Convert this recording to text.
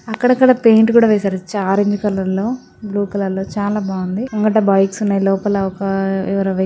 అక్కడక్కడ పేయింట్ కూడా వేశారు ఆరెంజ్ కలర్ లో బ్లూ కలర్ లో చాలా బాగుంది ముంగట బైక్స్ ఉన్నాయి లోపల ఒక ఎవరో --